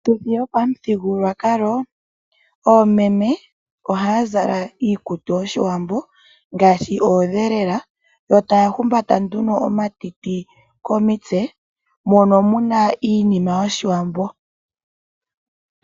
Piituthi yopamuthigulwakalo oomeme ohaya zala iikutu yoshiwambo ngaashi oodhelela, yo taya humbata nduno omatiti komitse mono muna iinima yoshiwambo.